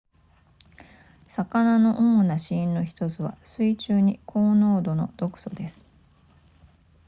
魚の主な死因の1つは水中に高濃度の毒素です